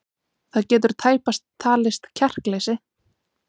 Það getur tæpast talist kjarkleysi.